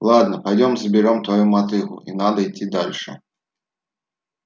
ладно пойдём заберём твою мотыгу и надо идти дальше